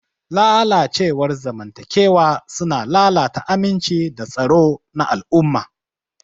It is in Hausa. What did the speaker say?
Lalacewar zamantakewa suna lalata aminci da tsaro na al'umma.